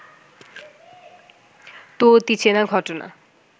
তো অতিচেনা ঘটনা